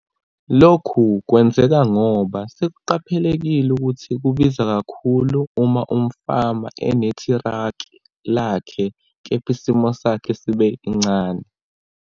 Lokhu kwenzeka ngoba sekuqaphelekile ukuthi kubiza kakhulu uma umfama enetraki lakhe kepha isilimo sakhe sibe incane.